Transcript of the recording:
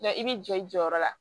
i bɛ jɔ i jɔyɔrɔ la